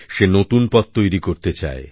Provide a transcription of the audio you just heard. সে নতুন পথ তৈরি করতে চায়